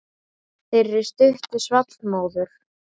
Þeirri stuttu svall móður.